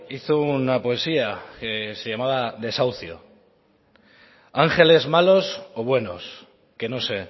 hizo una poesía que se llamaba desahucio ángeles malos o buenos que no sé